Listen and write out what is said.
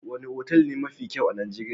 Wane otal ne mafi kyau a Nijeriya?